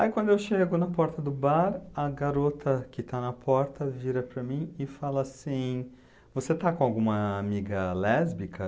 Aí quando eu chego na porta do bar, a garota que está na porta vira para mim e fala assim, você está com alguma amiga lésbica?